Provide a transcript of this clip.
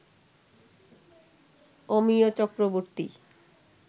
Amiya Chakraborty